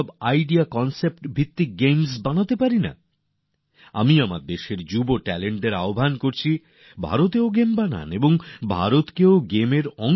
আমরা কি সেগুলির ভিত্তিতে গেমস বানাতে পারি না আমি দেশের তরুণ প্রতিভাদের বলছি আপনারা ভারতেও গেমস বানান আর ভারতের গেমস বানান